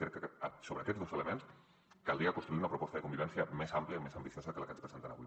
crec que sobre aquests dos elements caldria construir una proposta de convivència més àmplia més ambiciosa que la que ens presenten avui